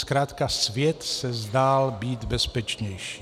Zkrátka svět se zdál být bezpečnější.